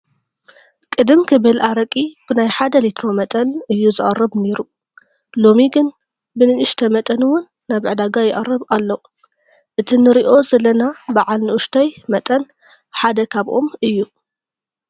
ቅድም ክብል ኣረቂ ብናይ ሓደ ሊትሮ መጠን እዩ ዝቐርብ ነይሩ፡፡ ሎሚ ግን ብንኡሽተ መጠን እውን ናብ ዕዳጋ ይቐርብ ኣሎ፡፡ እቲ ንሪኦ ዘለና በዓል ንኡሽተይ መጠን ሓደ ካብኦም እዩ፡፡